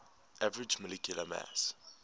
average molecular mass